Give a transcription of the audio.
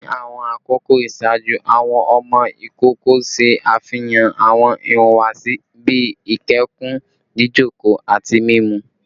Ni awọn akoko iṣaaju, awọn ọmọ ikoko ṣe afihan awọn ihuwasi bii ikẹkun, jijoko, ati mimu